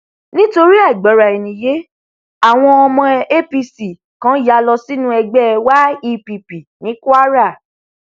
nítorí àìgbọraẹniyé àwọn ọmọ apc kan yá lọ sínú ẹgbẹ yepp ní kwara